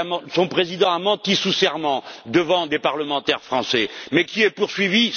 Son président a menti sous serment devant des parlementaires français, mais qui est poursuivi?